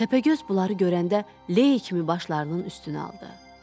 Təpəgöz bunları görəndə ley kimi başlarının üstünə aldı.